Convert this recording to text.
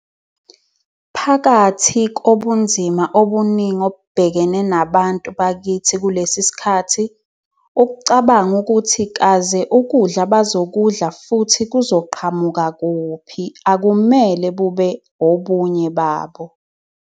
Phakathi kobunzima obuningi obubhekene nabantu bakithi kulesi sikhathi, ukucabanga ukuthi kaze ukudla abazokudla futhi kuzoqhamuka kuphi akumele bube obunye babo.